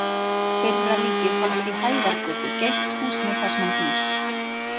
Fyrra líkið fannst í Hæðargötu, gegnt húsinu þar sem hann býr.